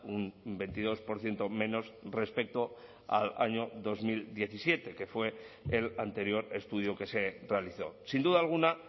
un veintidós por ciento menos respecto al año dos mil diecisiete que fue el anterior estudio que se realizó sin duda alguna